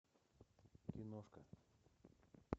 киношка